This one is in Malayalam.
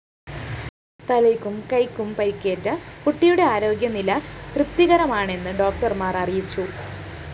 തലയ്ക്കും കൈക്കും പരിക്കേറ്റ കുട്ടിയുടെ ആരോഗ്യ നിലതൃപ്തികരമാണെന്ന് ഡോക്ടര്‍മാര്‍ അറിയിച്ചു